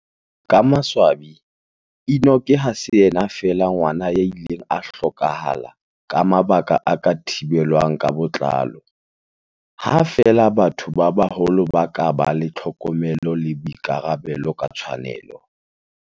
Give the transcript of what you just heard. Ka maswabi, Enock ha se yena feela ngwana ya ileng a hloka hala ka mabaka a ka thibelwang ka botlalo, ha feela batho ba baholo ba ka ba le tlhokomelo le boikarabelo ka tshwanelo.